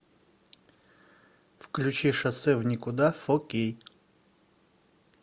включи шоссе в никуда фо кей